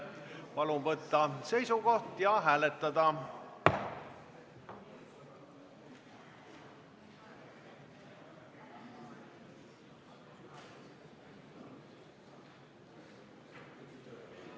Palun võtta seisukoht ja hääletada!